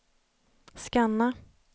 scanna